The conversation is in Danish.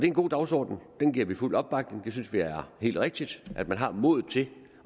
en god dagsorden den giver vi fuld opbakning og vi synes det er helt rigtigt at man har modet til